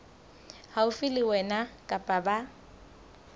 haufi le wena kapa ba